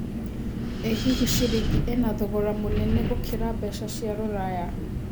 ĩ hihi ciringi ĩna thogora mũnene gũkĩra mbeca cia rũraya